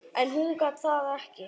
En hún gat það ekki.